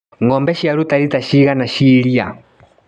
Ngombe ciaruta rita cigana cia iria.